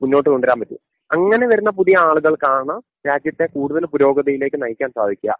മുന്നോട്ടു കൊണ്ടുവരാൻ പറ്റൂ അങ്ങനെ വരുന്ന പുതിയ ആളുകൾക്കാണ് രാജ്യത്തെ കൂടുതല് പുരോഗതിയിലേക്ക് നയിക്കാൻ സാധിക്യാ.